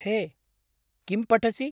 हे, किं पठसि?